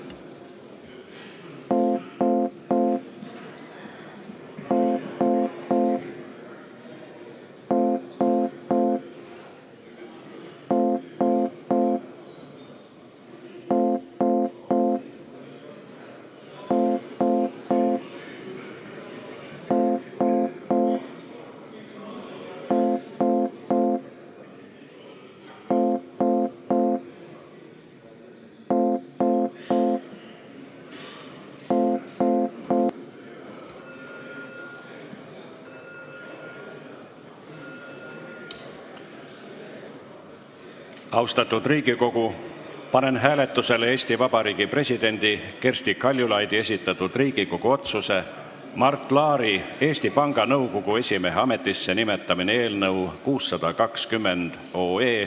Austatud Riigikogu, panen hääletusele Eesti Vabariigi presidendi Kersti Kaljulaidi esitatud Riigikogu otsuse "Mart Laari Eesti Panga Nõukogu esimehe ametisse nimetamine" eelnõu 620.